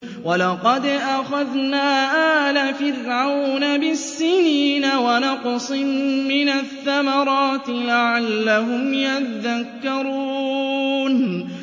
وَلَقَدْ أَخَذْنَا آلَ فِرْعَوْنَ بِالسِّنِينَ وَنَقْصٍ مِّنَ الثَّمَرَاتِ لَعَلَّهُمْ يَذَّكَّرُونَ